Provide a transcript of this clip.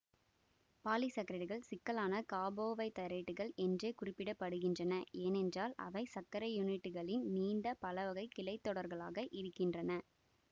பாலிசாக்கரைடுகள் சிக்கலான காபோவைதரேட்டுகள் என்றே குறிப்பிட படுகின்றன ஏனென்றால் அவை சர்க்கரை யூனிட்டுகளின் நீண்ட பலவகை கிளைத்தொடர்களாக இருக்கின்றன